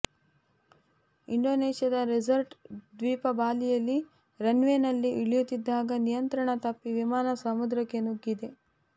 ಇಂಡೋನೇಷ್ಯಾದ ರೆಸಾರ್ಟ್ ದ್ವೀಪ ಬಾಲಿಯಲ್ಲಿ ರನ್ ವೇ ನಲ್ಲಿ ಇಳಿಯುತ್ತಿದ್ದಾಗ ನಿಯಂತ್ರಣ ತಪ್ಪಿ ವಿಮಾನ ಸಮುದ್ರಕ್ಕೆ ನುಗ್ಗಿದೆ